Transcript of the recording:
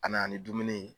A nana ni dumuni ye